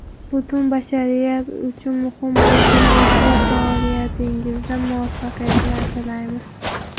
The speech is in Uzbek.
Butun bashariyat uchun muhim bo‘lgan ezgu faoliyatingizda muvaffaqiyatlar tilaymiz!